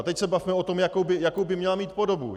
A teď se bavme o tom, jakou by měla mít podobu.